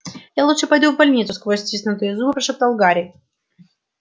я лучше пойду в больницу сквозь стиснутые зубы прошептал гарри